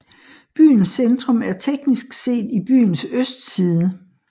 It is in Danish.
Byens centrum er teknisk set i byens østside